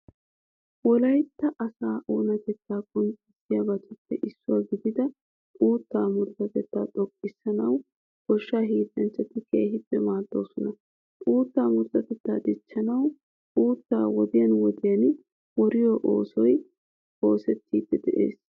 Wolaytta asaa oonatettaa qonccissiyabatuppe issuwa gidida uuttaa murutatettaa xoqqissanawu goshshaa hiillanchchati keehippe maaddoosona. Uuttaa murutatettaa dichchanawu uuttaa wodiyan wodiyan woriyo oosoy oosettiiddi de'ees.